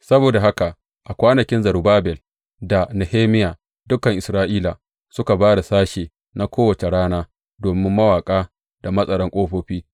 Saboda haka a kwanakin Zerubbabel da Nehemiya, dukan Isra’ila suka ba da sashe na kowace rana domin mawaƙa da matsaran ƙofofi.